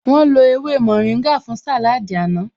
Wọ́n lo ewé mórìngà fún sàláádì àná